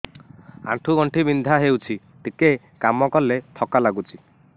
ଆଣ୍ଠୁ ଗଣ୍ଠି ବିନ୍ଧା ହେଉଛି ଟିକେ କାମ କଲେ ଥକ୍କା ଲାଗୁଚି